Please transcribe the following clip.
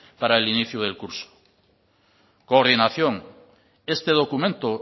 para el inicio del curso coordinación este documento